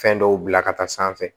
Fɛn dɔw bila ka taa sanfɛ